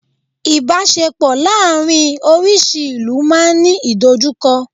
Ibaṣepọ láàrin orísi ìlú ma n Ni idojukọ